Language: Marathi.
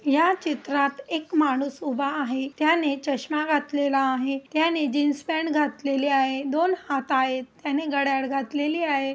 या चित्रात एक माणूस उभा आहे त्याने चश्मा घातलेला आहे त्याने जीन्स पॅंट घातलेली आहे. दोन हाथं आहेत त्यांनी घड्याळ घातलेली आहे.